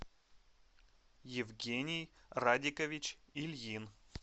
евгений радикович ильин